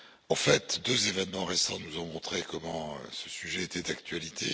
En fait, deux événements récents nous ont montré combien ce sujet était d'actualité.